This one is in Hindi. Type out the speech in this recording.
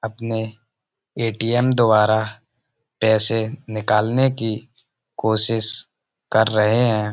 यह एक स्वीट्स की दुकान है जो कि यह बदायूँ में है।